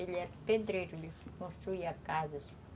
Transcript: Ele era pedreiro, construía casas.